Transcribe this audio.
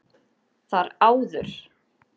Þar áður